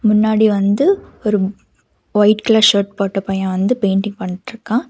முன்னாடி வந்து ஒரு வயிட் கலர் ஷெர்ட் போட்ட பைய வந்து பெயின்டிங் பண்ட்ருக்கா.